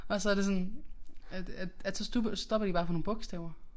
Og så det sådan at at at så stopper stopper de bare på nogle bogstaver